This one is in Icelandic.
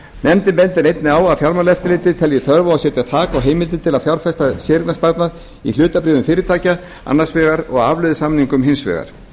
nefndin bendir einnig á að fjármálaeftirlitið telji þörf á að setja þak á heimild til að fjárfesta séreignarsparnað í hlutabréfum fyrirtækja annars vegar og afleiðusamningum hins vegar